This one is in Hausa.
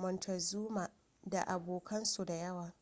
montezuma da abokan su da yawa